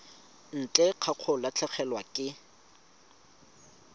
ntle ga go latlhegelwa ke